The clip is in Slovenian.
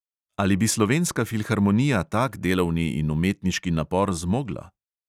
Ali bi slovenska filharmonija tak delovni in umetniški napor zmogla?